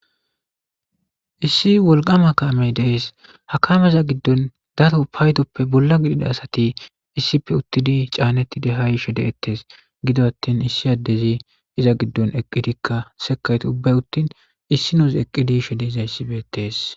Issi wolqama kaamey dees hakameiza giddon dato paaydoppe bolla gidida asati issipe uttidi caanetti dehay shede ettees gido attin issi addezi iza giddon eqqidikka sekayt ubbay uttin issi noos eqqidi shede iza issibetees